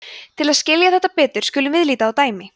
til að skilja þetta betur skulum við líta á dæmi